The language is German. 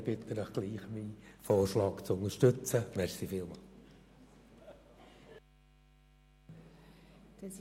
Trotzdem bitte ich Sie, meinen Vorschlag zu unterstützen, wenn Sie am Schluss die Kürzungen beschliessen.